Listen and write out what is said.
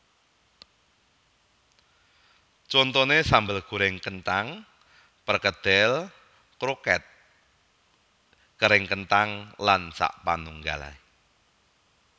Contoné sambel gorèng kenthang perkedel kroket kering kenthang lan sapanunggalé